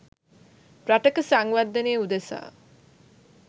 රටක සංවර්ධනය උදෙසා